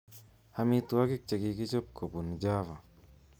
Amitwogik chekichob kobun Java